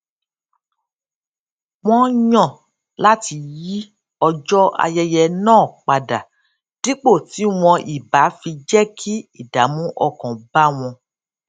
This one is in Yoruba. wón yàn láti yí ọjó ayẹyẹ náà padà dípò tí wọn ì bá fi jé kí ìdààmú ọkàn bá wọn